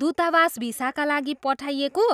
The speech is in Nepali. दूतावासमा भिसाका लागि पठाइएको